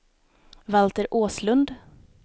Valter Åslund